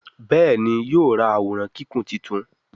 Béèni yóò rá Àwòrán Kíkún títún.